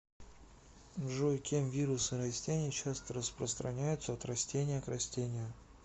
джой кем вирусы растений часто распространяются от растения к растению